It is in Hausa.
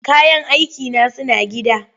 Kayan aikina suna gida.